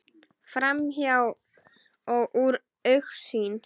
Framhjá og úr augsýn.